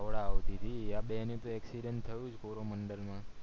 હાવડા આવતીહતી આ બેની accident થયું જ કોરોમંડળ માં